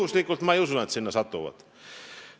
Ma ei usu, et nad juhuslikult sinna satuvad.